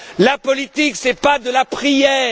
La politique, ce n'est pas de la prière!